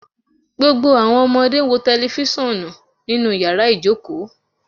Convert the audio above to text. Gbogbo awọn ọmọde n wo tẹlifisiọnu ninu yara ijoko